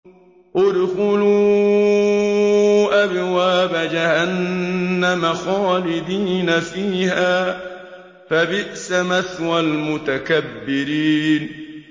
ادْخُلُوا أَبْوَابَ جَهَنَّمَ خَالِدِينَ فِيهَا ۖ فَبِئْسَ مَثْوَى الْمُتَكَبِّرِينَ